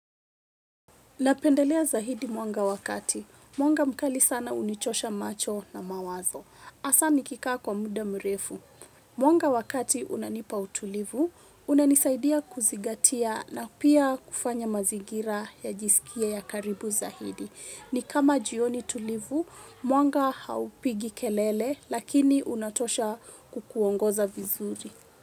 Napendelea zaidi mwanga wa kati. Mwanga mkali sana unichosha macho na mawazo. Hasaa nikikaa kwa muda mrefu. Mwanga wa kati unanipa utulivu, unanisaidia kuzingatia na pia kufanya mazingira yajisikie ya karibu zaidi. Ni kama jioni tulivu, mwanga haupigi kelele lakini unatosha kukuongoza vizuri.